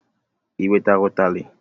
I wetara utali?